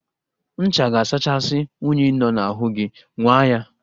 Ncha ga-asachasị unyi nọ n'ahụ gi, nwaa ya